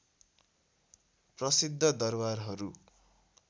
प्रसिद्ध दरवारहरू